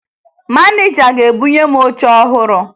Maneja ga-ebunye m oche ọhụrụ